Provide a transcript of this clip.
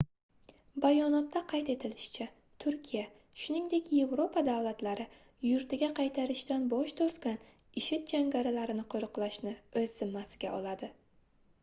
bayonotda qayd etilishicha turkiya shunigdek yevropa davlatlari yurtiga qaytarishdan bosh tortgan ishid jangarilarini qoʻriqlashni oʻz zimmasiga oladi